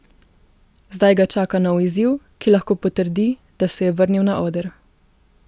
Zdaj ga čaka nov izziv, ki lahko potrdi, da se je vrnil na oder.